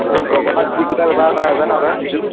ঐ গগণাত কি সূতা ব্য়ৱহাৰ কৰা হয় জান তই